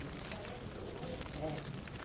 de quarenta, cinquenta. É